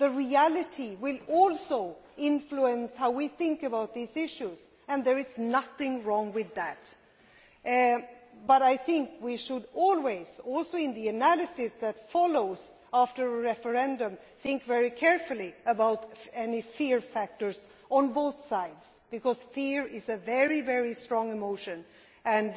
The reality will also influence how we think about these issues, and there is nothing wrong with that, but I think we should always, in the analysis that follows after a referendum, think very carefully about any fear factors on both sides, because fear is a very strong emotion and